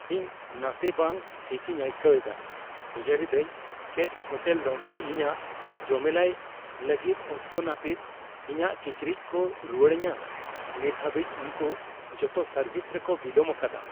ᱤᱧ ᱱᱟᱥᱮ ᱵᱟᱝ ᱴᱷᱤᱠᱤᱧ ᱟᱹᱭᱠᱟᱹᱣ ᱮᱫᱟ, ᱩᱭᱦᱟᱹᱨ ᱮᱫᱟᱧ ᱪᱮᱫ ᱦᱳᱴᱮᱞ ᱞᱚᱱᱰᱨᱤ ᱤᱧᱟᱹᱜ ᱡᱚᱢᱮᱞᱟᱭ ᱞᱟᱹᱜᱤᱫ ᱚᱠᱛᱚ ᱱᱟᱹᱯᱤᱛ ᱤᱧᱟᱹᱜ ᱠᱤᱪᱨᱤᱡ ᱠᱚ ᱨᱩᱣᱟᱹᱲ ᱟᱹᱧᱟ ᱾ ᱱᱤᱛ ᱦᱟᱹᱵᱤᱡ, ᱩᱱᱠᱩ ᱡᱚᱛᱚ ᱥᱟᱨᱵᱷᱤᱥ ᱨᱮᱠᱚ ᱵᱤᱞᱚᱢ ᱟᱠᱟᱫᱟ ᱾